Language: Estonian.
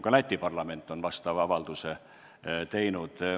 Ka Läti parlament on vastava avalduse teinud.